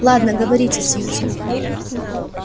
ладно говорите сьюзен